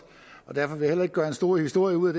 og derfor vil jeg heller ikke gøre en stor historie ud